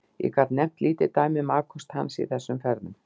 Ég get nefnt lítið dæmi um afköst hans í þessum ferðum.